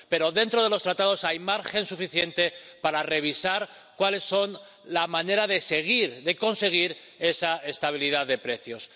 Pero dentro de los Tratados hay margen suficiente para revisar cuál es la manera de conseguir esa estabilidad de precios.